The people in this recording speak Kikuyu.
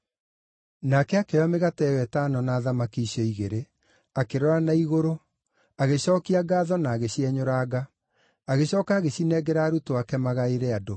Nake akĩoya mĩgate ĩyo ĩtano na thamaki icio igĩrĩ, akĩrora na igũrũ, agĩcookia ngaatho na agĩcienyũranga. Agĩcooka agĩcinengera arutwo ake magaĩre andũ.